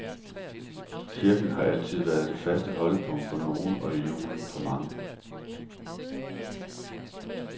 Kirken har altid været det faste holdepunkt for nogle og i julen for mange.